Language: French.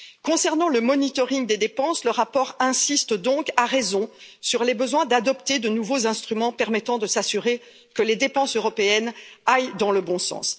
Concernant le monitoring des dépenses, le rapport insiste donc, à raison, sur les besoins d'adopter de nouveaux instruments permettant de s'assurer que les dépenses européennes aillent dans le bon sens.